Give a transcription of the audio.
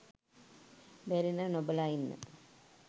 බැරි නම් නොබලා ඉන්න